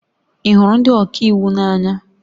Ị hụrụ ndị ọka iwu n'anya?